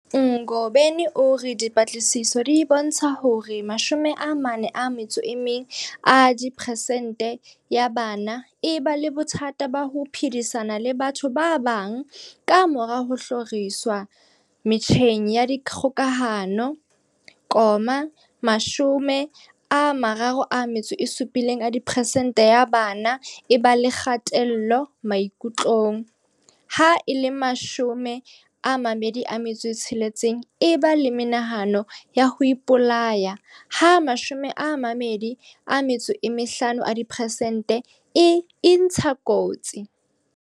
Ngobeni o re dipatlisiso di bontsha hore 41 a diperesente ya bana e ba le bothata ba ho phedisana le batho ba bang kamora ho hloriswa metjheng ya dikgokahano, 37 a diperesente ya bana e ba le kgatello maikutlong, 26 e ba le menahano ya ho ipolaya ha 25 a diperesente e intsha dikotsi.